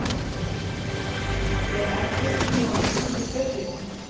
Er eldvirkni á Íslandi sveiflukennd?